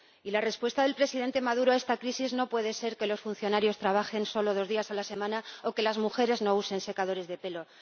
Y la respuesta del presidente Maduro a esta crisis no puede ser que los funcionarios trabajen solo dos días a la semana o que las mujeres no usen secadores de pelo.